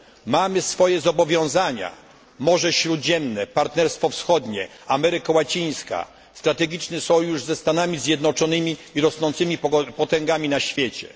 Mamy swoje zobowiązania Morze Śródziemne, partnerstwo wschodnie, Ameryka Łacińska, strategiczny sojusz ze Stanami Zjednoczonymi i rosnącymi potęgami na świecie.